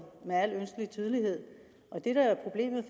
med al ønskelig tydelighed det der er problemet